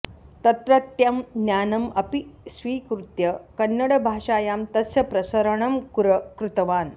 तत्रत्यं ज्ञानम् अपि स्वीकृत्य कन्नडभाषायां तस्य प्रसरणं कृतवान्